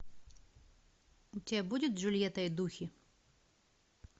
у тебя будет джульетта и духи